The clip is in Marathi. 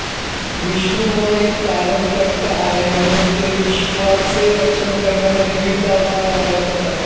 विष्णू हा एक पालनकर्ता आहे म्हणून ते विश्वाचे रक्षण करण्यासाठी विविध अवतार धारण करतात